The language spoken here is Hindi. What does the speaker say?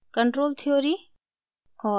कंट्रोल थ्योरी और